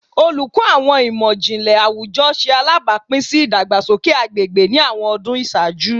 Oluko Awọn Imọ-jinlẹ Awujọ ṣe alabapin si idagbasoke agbegbe ni awọn ọdun iṣaaju